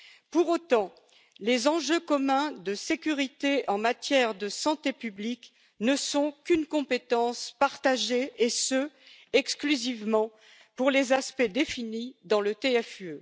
Pour autant, les enjeux communs de sécurité en matière de santé publique ne sont qu'une compétence partagée, et ce exclusivement pour les aspects définis dans le TFUE.